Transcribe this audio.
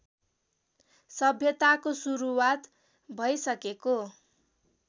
सभ्यताको सुरुवात भैसकेको